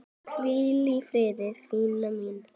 Hvíl í friði, Fanný mín.